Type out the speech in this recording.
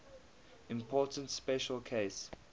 important special case